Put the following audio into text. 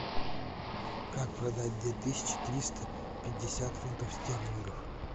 как продать две тысячи триста пятьдесят фунтов стерлингов